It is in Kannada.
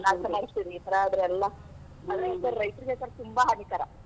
ಈ ತರಾ ಆದ್ರೆ ಎಲ್ಲಾ.